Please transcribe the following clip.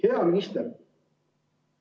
Hea minister!